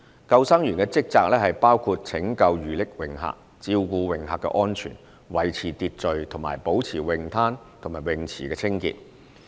救生員的職責包括拯救遇溺泳客、照顧泳客的安全、維持秩序及保持泳灘和泳池清潔。